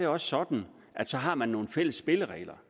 også sådan at så har man nogle fælles spilleregler